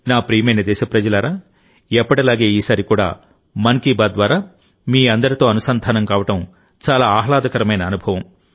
నా ప్రియమైన దేశప్రజలారాఎప్పటిలాగే ఈసారి కూడా మన్ కీ బాత్ ద్వారా మీ అందరితో అనుసంధానం కావడం చాలా ఆహ్లాదకరమైన అనుభవం